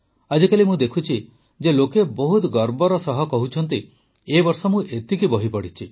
ଆଜିକାଲି ମୁଁ ଦେଖୁଛି ଯେ ଲୋକେ ବହୁତ ଗର୍ବର ସହ କହୁଛନ୍ତି ଏ ବର୍ଷ ମୁଁ ଏତିକି ବହି ପଢ଼ିଛି